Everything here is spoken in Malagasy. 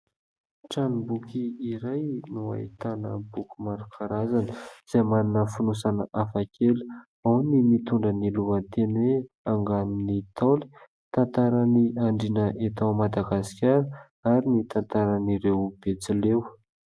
Tranomboky iray no ahitana boky maro karazana,, izay manana fonosana hafa kely ao ny nitondra ny lohateny hoe : "anganon'ny Ntaolo" tantaran'i Andriana eto Madagasikara ary ny tantaran'ireo Betsileo.